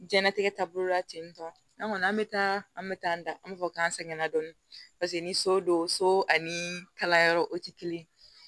Jɛnatigɛ taabolo la ten tɔ an kɔni an bɛ taa an bɛ taa an da an bɛ fɔ k'an sɛgɛnna dɔɔni paseke ni so don so ani kalanyɔrɔ o tɛ kelen ye